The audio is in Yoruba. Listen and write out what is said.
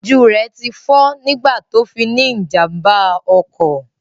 Ojú rẹ tí fọ́ nígbà tó fi ní ìjàmbá ọkọ̀